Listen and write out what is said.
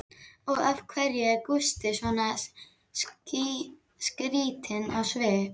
Og af hverju er Gústi svona skrýtinn á svipinn?